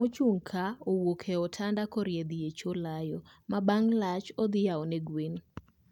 Ma ochung' ka owuok e otanda korie dhi e choo layo, ma bang' lach odhi yao ne gwen